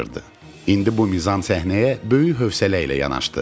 İndi bu mizan səhnəyə böyük hövsələ ilə yanaşdı.